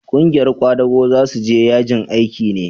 ƙungiyar kwadago za su je yajin aiki ne?